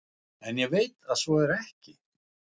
En ég veit að svo er ekki.